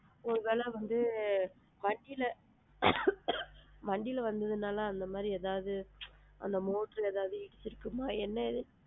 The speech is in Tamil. ஒரு வேல வந்து வண்டில வண்டில வந்ததுனால அந்த மாதிரி ஏதாது அந்த motor ஏதாது இருக்குமா? என்னான்னு,